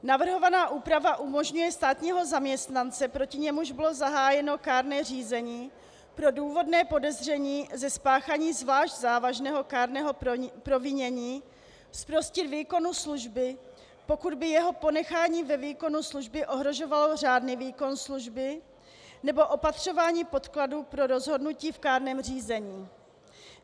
Navrhovaná úprava umožňuje státního zaměstnance, proti němuž bylo zahájeno kárné řízení pro důvodné podezření ze spáchání zvlášť závažného kárného provinění, zprostit výkonu služby, pokud by jeho ponechání ve výkonu služby ohrožovalo řádný výkon služby nebo opatřování podkladů pro rozhodnutí v kárném řízení.